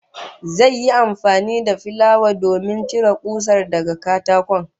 Zai yi amfani da filaya domin cire kusar daga katakon